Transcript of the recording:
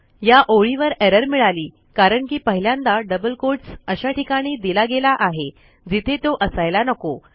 या ओळीवर एरर मिळाली कारण की पहिल्यांदा डबल कोट्स अशा ठिकाणी दिला गेला आहे जिथे तो असायला नको